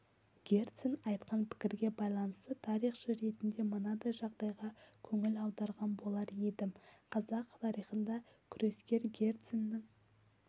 герцен айтқан пікірге байланысты тарихшы ретінде мынадай жағдайға көңіл аударған болар едім қазақ тарихында күрескер герценнің